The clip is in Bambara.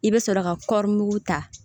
I bɛ sɔrɔ ka kɔrimugu ta